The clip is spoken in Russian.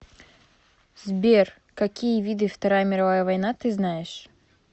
сбер какие виды вторая мировая война ты знаешь